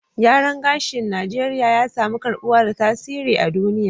Gyaran gashin Najeriya ya samu karbuwa da tasiri a duniya